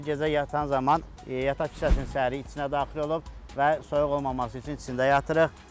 Gecə yatan zaman yataq kisəsinin səri içinə daxil olub və soyuq olmaması üçün içində yatırıq.